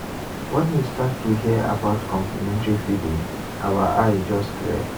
when we start to hear about complementary feeding our eye just clear.